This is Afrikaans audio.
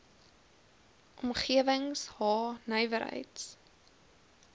omgewings h nywerheids